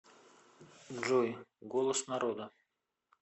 джой голос народа